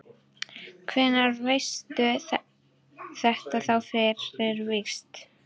Hvenær veistu þetta þá fyrir víst?